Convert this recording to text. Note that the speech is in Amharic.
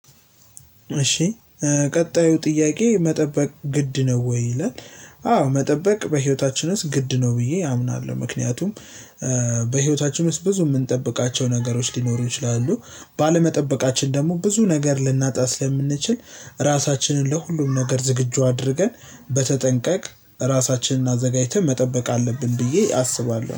እሺ ቀጣዩ ጥያቄ መጠበቅ ግድ ነው ወይ ይላል? አዎ መጠበቅ በህይወታችን ውስጥ ግድ ነው ብዬ አምናለው። ምክንያቱም በህይወታችን ውስጥ ብዙ የምንጠብቃቸው ነገሮች ሊኖሩ ይችላሉ። ባለመጠበቃችን ደግሞ ብዙ ነገር ልናጣ ስለምንችል ራሳችንን ለሁሉም ነገር ዝግጁ አድርገን በተጠንቀቅ ራሳችንን አዘጋጅተን መጠበቅ አለብን። ብዬ አስባለሁ